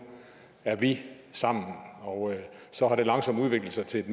er vi sammen og så har det langsomt udviklet sig til et